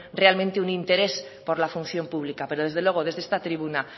realmente un interés por la función pública pero desde luego desde esta tribuna